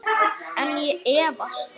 En ég efast.